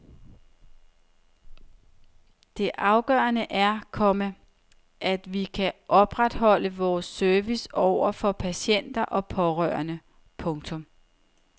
Det afgørende er, komma at vi kan opretholde vores service over for patienter og pårørende. punktum